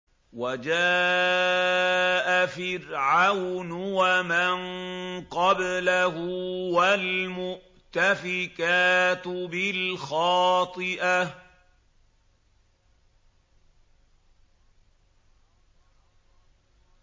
وَجَاءَ فِرْعَوْنُ وَمَن قَبْلَهُ وَالْمُؤْتَفِكَاتُ بِالْخَاطِئَةِ